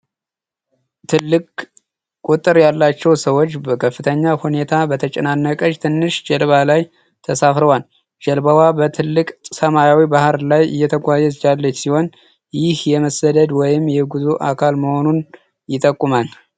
ትልቅ ቁጥር ያላቸው ሰዎች በከፍተኛ ሁኔታ በተጨናነቀች ትንሽ ጀልባ ላይ ተሳፍረዋል። ጀልባዋ በጥልቅ ሰማያዊ ባህር ላይ እየተጓዘች ያለች ሲሆን፣ ይህ የመሰደድ ወይም የጉዞ አካል መሆኑን ይጠቁማል።